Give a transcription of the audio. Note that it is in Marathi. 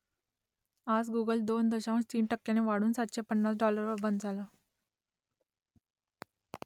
आज गुगल दोन दशांश तीन टक्क्यांनी वाढून सातशे पन्नास डाॅलरवर बंद झालं